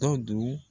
Dɔ du